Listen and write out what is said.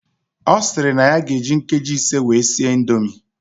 Osiri na ya ga eji nkeji ise wee sie indomie